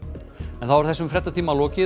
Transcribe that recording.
þá er þessum fréttatíma lokið